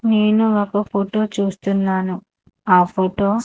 నేను ఒక ఫోటో చూస్తున్నాను ఆ ఫోటో .